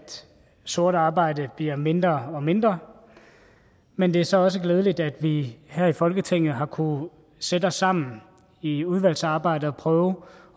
sort arbejde bliver mindre og mindre men det er så også glædeligt at vi her i folketinget har kunnet sætte os sammen i udvalgsarbejdet og prøve